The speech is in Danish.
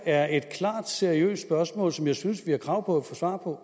er et klart seriøst spørgsmål som jeg synes at vi har krav på at få svar på